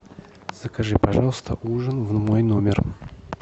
закажи пожалуйста ужин в мой номер